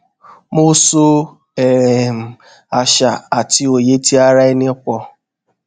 mo so um àṣà àti òye ti ara ẹni pọ